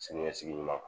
Siniɲɛsigi ɲuman kan